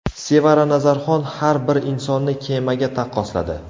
Sevara Nazarxon har bir insonni kemaga taqqosladi.